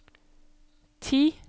ti